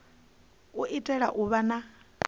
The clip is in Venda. u itela u vha na